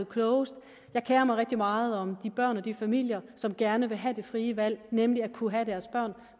klogest jeg kerer mig rigtig meget om de børn og de familier som gerne vil have det frie valg nemlig at kunne have deres børn